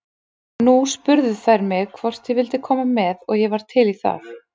Nú spurðu þær mig hvort ég vildi koma með og ég var til í það.